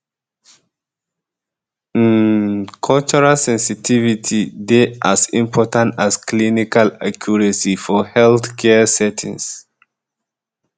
um um cultural sensitivity dey as important as clinical accuracy for healthcare settings